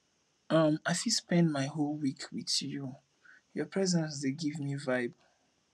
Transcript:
um i fit spend my whole week with you your presence dey give me vibe